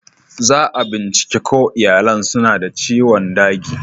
Za'a bincike ko iyalin suna da ciwon dagi.